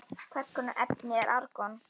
Hvers konar efni er argon?